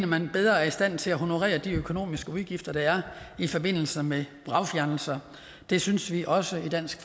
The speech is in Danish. man bedre er i stand til at honorere de økonomiske udgifter der er i forbindelse med vragfjernelser det synes vi også i dansk